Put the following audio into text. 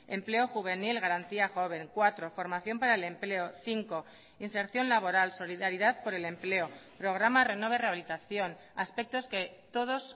empleo juvenil garantía joven cuatro formación para el empleo cinco inserción laboral solidaridad por el empleo programa renove rehabilitación aspectos que todos